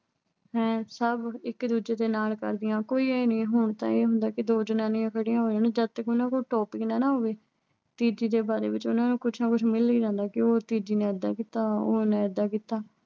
ਹੈਂ। ਸਭ ਇੱਕ ਦੂਜੇ ਦੇ ਨਾਲ ਕਰਦੀਆਂ। ਕੋਈ ਆਏਂ ਨੀ ਐ। ਹੁਣ ਤਾਂ ਇਹ ਆ ਜੇ ਦੋ ਜਨਾਨੀਆਂ ਖੜੀਆਂ ਹੋਣ ਤੇ ਜਦ ਤੱਕ ਉਨ੍ਹਾਂ ਕੋਲ ਕੋਈ topic ਨਾ ਨਾ ਅਹ ਹੋਵੇ। ਤੀਜੀ ਦੇ ਬਾਰੇ ਵਿੱਚ ਉਨ੍ਹਾਂ ਨੂੰ ਕੁਛ ਮਿਲ ਹੀ ਜਾਂਦਾ ਕਿ ਉਹ ਤੀਜੀ ਨੇ ਇਦਾਂ ਕੀਤਾ ਉਹਨੇ ਐਦਾਂ ਕੀਤਾ।